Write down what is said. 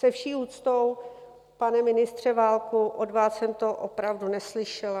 Se vší úctou, pane ministře Válku, od vás jsem to opravdu neslyšela.